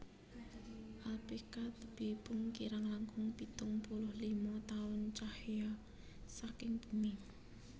Alphekka tebihipun kirang langkung pitung puluh lima taun cahya saking bumi